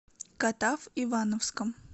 катав ивановском